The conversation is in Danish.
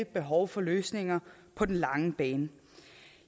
behov for løsninger på den lange bane